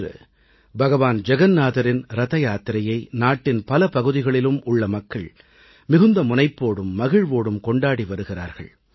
இன்று பகவான் ஜகன்நாதரின் ரதயாத்திரையை நாட்டின் பல பகுதிகளிலும் உள்ள மக்கள் மிகுந்த முனைப்போடும் மகிழ்வோடும் கொண்டாடி வருகிறார்கள்